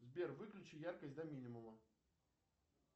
сбер выключи яркость до минимума